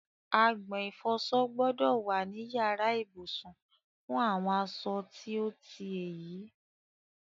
Agbọ̀n ìfọsọ gbọ́dọ̀ wà ní yàrá ìbùsùn fún àwọn asọ tí ó ti èyí.